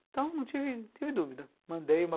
Então não tive dúvida, mandei uma